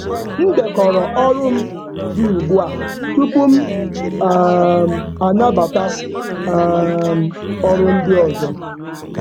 M dekọrọ ọrụ m dị ugbu a tupu m anabata ọrụ ndị ọzọ.